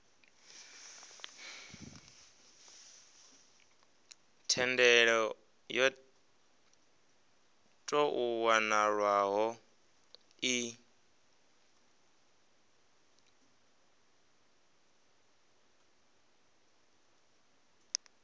thendelo yo tou nwalwaho i